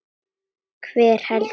Hver heldur þú?